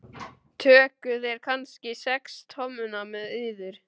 Tókuð þér kannski sex tommuna með yður?